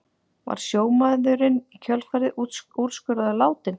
Var sjómaðurinn í kjölfarið úrskurðaður látinn